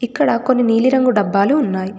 ఇక్కడ కొన్ని నీలి రంగు డబ్బాలు ఉన్నాయి.